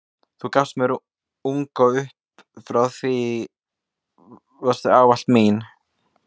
Þú gafst mér ung og upp frá því varstu ávallt mín.